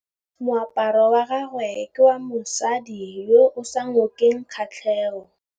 Moaparô wa gagwe ke wa mosadi yo o sa ngôkeng kgatlhegô.